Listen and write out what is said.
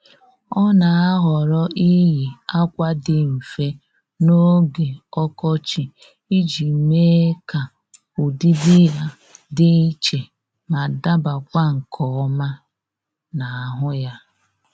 Ọ́ nà-àhọ́rọ́ iyi ákwà dị mfe n’ógè ọkọchị iji mee ka ụ́dị́dị ya dị iche ma dabakwa nke ọma n'ahụ ya